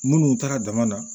Munnu taara dama na